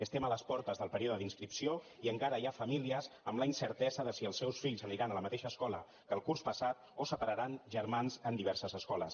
estem a les portes del període d’inscripció i encara hi ha famílies amb la incertesa de si els seus fills aniran a la mateixa escola que el curs passat o separaran germans en diverses escoles